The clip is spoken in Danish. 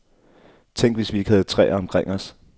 Tænk, hvis vi ikke havde træer omkring os.